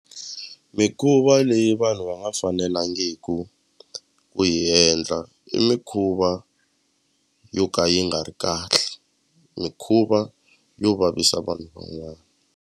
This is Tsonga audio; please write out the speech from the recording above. Mikhuva leyi vanhu va nga fanelangiku ku yi endla i mikhuva yo ka yi nga ri kahle mikhuva yo vavisa vanhu van'wana.